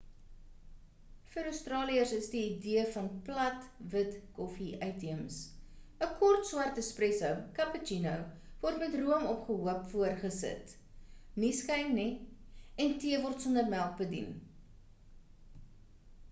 vir australiërs is die idee van 'plat wit' koffie uitheems. 'n kort swart is 'espresso' cappuccino word met room opgehoop voorgesit nie skuim nie en tee word sonder melk bedien